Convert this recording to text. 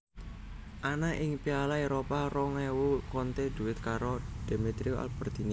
Ana ing Piala Éropah rong ewu Conte duet karo Demetrio Albertini